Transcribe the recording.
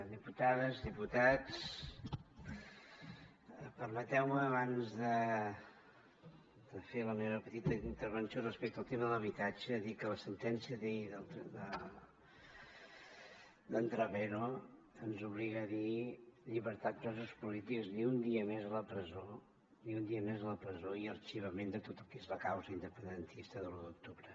diputades diputats permeteu me abans de fer la meva petita intervenció respecte al tema de l’habitatge dir que la sentència d’ahir d’en trapero ens obliga a dir llibertat presos polítics ni un dia més a la presó ni un dia més a la presó i arxivament de tot el que és la causa independentista de l’u d’octubre